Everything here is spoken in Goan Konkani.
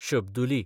शब्दुलीं